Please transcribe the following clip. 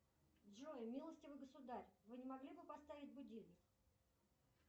джой милостивый государь вы не могли бы поставить будильник